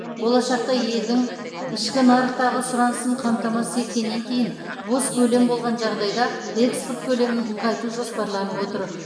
болашақта елдің ішкі нарықтағы сұранысын қамтамасыз еткеннен кейін бос көлем болған жағдайда экспорт көлемін ұлғайту жоспарланып отыр